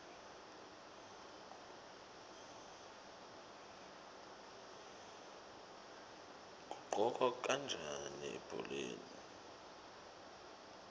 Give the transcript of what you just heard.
kuqhokwa kanjani ebholeni